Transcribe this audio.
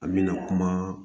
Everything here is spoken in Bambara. An mɛna kuma